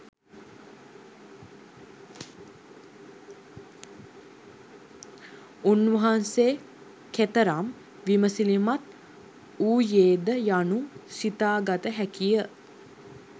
උන්වහන්සේ කෙතරම් විමසිලිමත් වූයේ ද යනු සිතාගත හැකි ය.